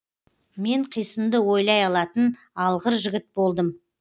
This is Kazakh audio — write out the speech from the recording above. мен қисынды ойлай алатын алғыр жігіт болдым